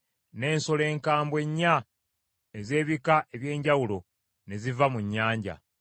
n’ensolo enkambwe nnya ez’ebika eby’enjawulo ne ziva mu nnyanja.